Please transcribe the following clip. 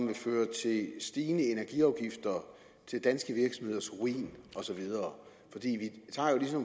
vil føre til stigende energiafgifter til danske virksomheders ruin og så videre